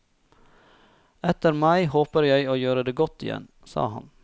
Etter mai håper jeg å gjøre det godt igjen, sa han.